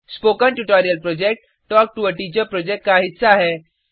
spoken tutorial project talk to a teacher project का हिस्सा है